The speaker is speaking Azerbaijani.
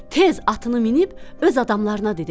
Tez atını minib öz adamlarına dedi.